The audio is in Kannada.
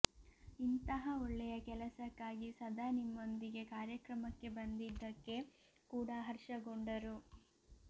ಇಂತಹ ಒಳ್ಳೆಯ ಕೆಲಸಕ್ಕಾಗಿ ಸದಾ ನಿಮ್ಮೊಂದಿಗೆ ಕಾರ್ಯಕ್ರಮಕ್ಕೆ ಬಂದಿದ್ದಕ್ಕೆ ಕೂಡ ಹರ್ಷಗೊಂಡರು